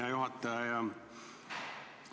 Hea juhataja!